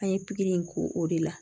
An ye pikiri in k'o o de la